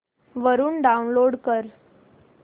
वरून डाऊनलोड कर